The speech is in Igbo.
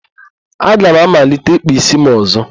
Aga m amalite ịkpa ísí m ọ̀zọ́.